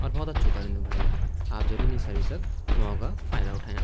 और बहौत अछू करुंदु भाई या आप जरूर इं सर्विस मौका फ़ायदा उठन्याँ।